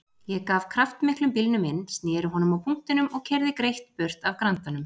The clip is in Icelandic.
Ég gaf kraftmiklum bílnum inn, sneri honum á punktinum og keyrði greitt burt af Grandanum.